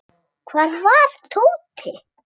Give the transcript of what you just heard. Hvar var Tóti?